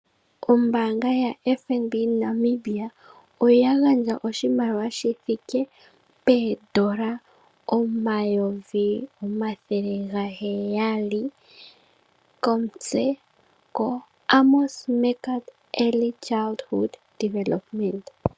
Ombaanga yaFNB Namibia oya gandja oshimaliwa shithike poondola omayovi gaheyali komitse koAmons Meerkat Early Childhood Development.